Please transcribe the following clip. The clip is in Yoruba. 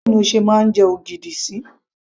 báwo ni o ṣe máa ń jẹ ogidi sí